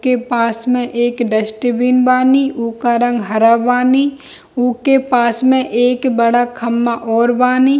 के पास में एक डस्टबिन बानी उका रंग हरा बानी ऊके पास में एक बड़ा खम्बा और बानी।